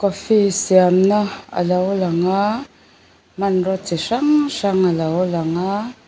coffee siamna alo lang a hmanraw chi hrang hrang alo lang a.